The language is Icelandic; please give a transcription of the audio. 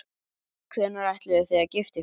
Hvenær ætlið þið að gifta ykkur?